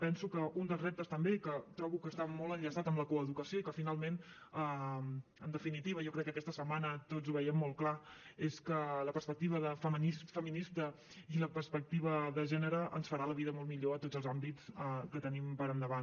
penso que un dels reptes també que trobo que està molt enllaçat amb la coeducació i que finalment en definitiva jo crec que aquesta setmana tots ho veiem molt clar és que la perspectiva feminista i la perspectiva de gènere ens faran la vida molt millor a tots els àmbits que tenim per endavant